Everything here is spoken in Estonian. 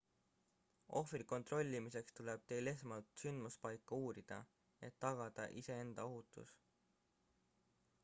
ohvri kontrollimiseks tuleb teil esmalt sündmuspaika uurida et tagada iseenda ohutus